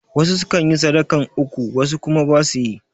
Wasu sukan yi sadakan uku wasu kuma ba su yi